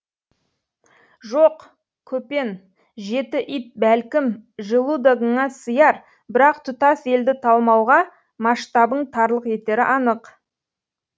жоқ көпен жеті ит бәлкім желудогыңа сыяр бірақ тұтас елді талмауға масштабың тарлық етері анық